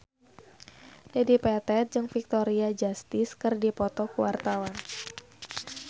Dedi Petet jeung Victoria Justice keur dipoto ku wartawan